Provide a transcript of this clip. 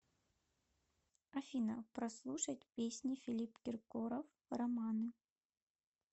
афина прослушать песни филипп киркоров романы